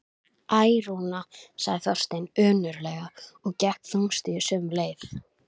Æ, Rúna sagði Þorsteinn önuglega og gekk þungstígur sömu leið.